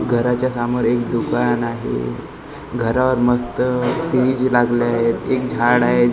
घराच्या सामोर एक दुकान आहे घरावर मस्त लागले आहेत एक झाड आहे झड--